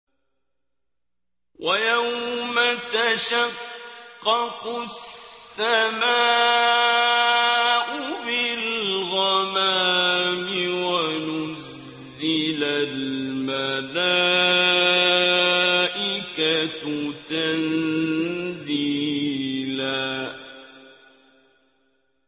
وَيَوْمَ تَشَقَّقُ السَّمَاءُ بِالْغَمَامِ وَنُزِّلَ الْمَلَائِكَةُ تَنزِيلًا